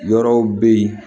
Yɔrɔw be yen